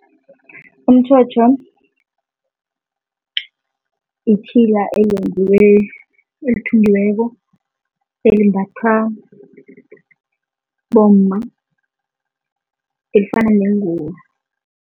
Umtjhotjho itjhila elenziwe, elithungiweko, elimbathwa bomma, elifana nengubo